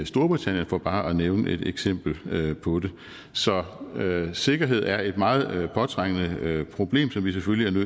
storbritannien for bare at nævne et eksempel på det så sikkerhed er et meget påtrængende problem som vi selvfølgelig